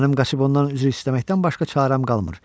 Mənim Qoqibadan üzr istəməkdən başqa çarəm qalmır.